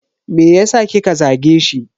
Meyasa kika zage shi?